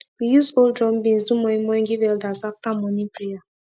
we use old drum beans do moin moin give elders after morning prayer